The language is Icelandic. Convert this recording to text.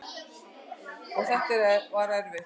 Og þetta var erfitt.